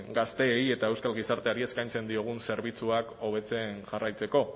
gazteei eta euskal gizarteari eskaintzen diegun zerbitzuak hobetzen jarraitzeko